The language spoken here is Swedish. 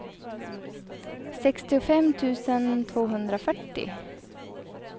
sextiofem tusen tvåhundrafyrtio